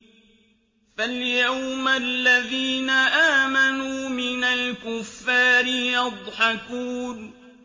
فَالْيَوْمَ الَّذِينَ آمَنُوا مِنَ الْكُفَّارِ يَضْحَكُونَ